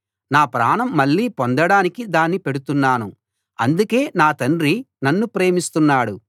నా ప్రాణం మళ్ళీ పొందడానికి దాన్ని పెడుతున్నాను అందుకే నా తండ్రి నన్ను ప్రేమిస్తున్నాడు